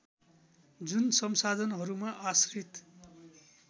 जुन संसाधनहरूमा आश्रित